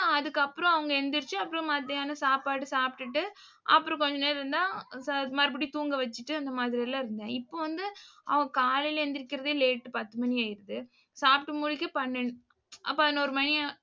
இப்ப அதுக்கப்புறம் அவங்க எந்திரிச்சு, அப்புறம் மத்தியானம் சாப்பாடு சாப்பிட்டுட்டு அப்புறம் கொஞ்ச நேரம் இருந்தா மறுபடியும் தூங்க வச்சிட்டு அந்த மாதிரி எல்லாம் இருந்தேன். இப்போ வந்து அவ காலையிலே எந்திரிக்கிறதே late பத்து மணி ஆயிடுது. சாப்பிட்டு முடிக்க பன்னெண்டு அஹ் பதினோரு மணி